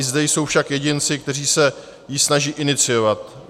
I zde jsou však jedinci, kteří se ji snaží iniciovat.